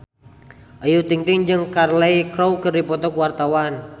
Ayu Ting-ting jeung Cheryl Crow keur dipoto ku wartawan